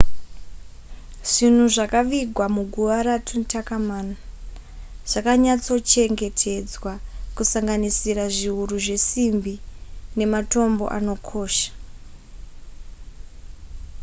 zvinhu zvakavigwa muguva ratutankhamun zvakanyatsochengetedzwa kusanganisira zviuru zvesimbi nematombo anokosha